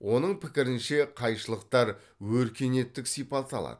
оның пікірінше қайшылықтар өркениеттік сипат алады